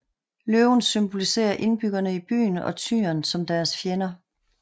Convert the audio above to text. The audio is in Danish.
Løven symboliserer indbyggerne i byen og tyren som deres fjender